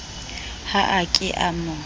ha a ke a mo